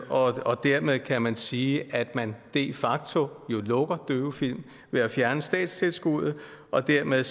og dermed kan man sige at man de facto lukker døvefilm ved at fjerne statstilskuddet og dermed